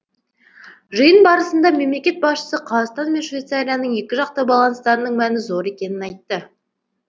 жиын барысында мемлекет басшысы қазақстан мен швейцарияның екіжақты байланыстарының мәні зор екенін айтты